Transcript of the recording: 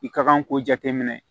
I ka kan k'o jateminɛ